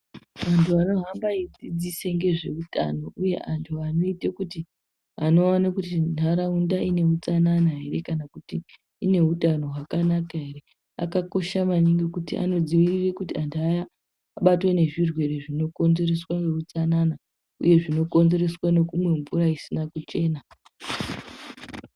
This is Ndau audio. Antu ano hambe eyi dzidzise ngezve utano uye antu anoite kuti ano one kuti ndaraunda ine utsanana ere kana kuti ine utano hwakanaka ere aka kosha maningi kuti ano dzivirire kuti antu abatwe ne zvirwere zvino konzereseswa ne utsanana uye zvino konzereswe ne kumwe mvura isina kuchena.